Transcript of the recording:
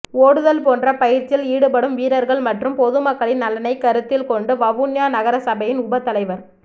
ஒடுதல் போன்ற பயிற்சியில் ஈடுபடும் வீரர்கள் மற்றும் பொதுமக்களின் நலனை கருத்தில் கொண்டு வவுனியா நகரசபையின் உப தலைவர்